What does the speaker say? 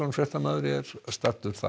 fréttamaður er staddur þar